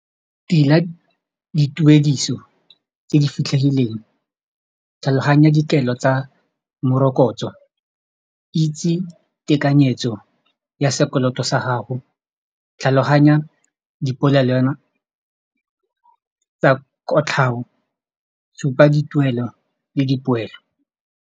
Dira dituediso tse di fitlhegileng tlhaloganya dikelo tsa morokotso itse tekanyetso ya sekoloto sa gago tlhaloganya tsa kotlhao supa dituelo le dipoelo.